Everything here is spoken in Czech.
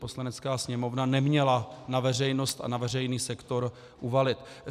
Poslanecká sněmovna neměla na veřejnost a na veřejný sektor uvalit.